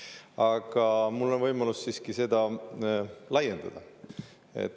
Aga mul on võimalus laiendada.